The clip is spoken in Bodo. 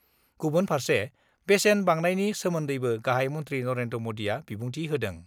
गुबुन फार्से बेसेन बांनायनि सोमोन्दैबो गाहाइ मन्थि नरेन्द्र मदिआ बिबुंथि होदों।